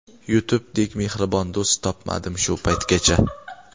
YouTube dek mehribon do‘st topmadim shu paytgacha.